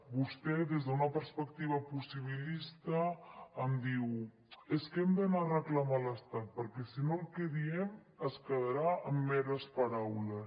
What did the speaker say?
vostè des d’una perspectiva possibilista em diu és que hem d’anar a reclamar a l’estat perquè si no el que diem es quedarà en meres paraules